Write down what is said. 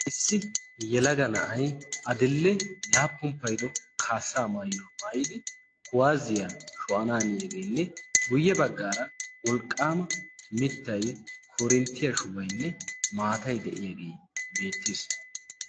Issi yelaga na'ay adil"e laappun paido kaassaa maayyaa maayidi kuwaaziyaa sho'ananiyaageenne guyye baggaara molqqaama mittai korinttiyaa shubaynne maatai de'iyaagee beettiis.